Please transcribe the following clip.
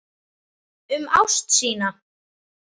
Um ást sína.